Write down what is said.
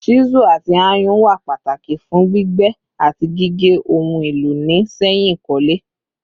Chisu ati ayùn wà Pataki fun gbígbẹ ati gige ohun elo ni sẹyìn ikole